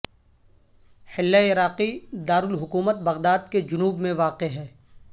Hillah عراقی دارالحکومت Baghdad کے جنوب میں واقع ہے